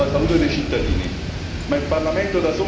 Ma il Parlamento da solo non può cambiare le cose.